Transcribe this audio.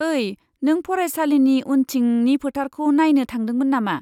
ओइ, नों फरायसालिनि उनथिंनि फोथारखौ नायनो थांदोंमोन नामा?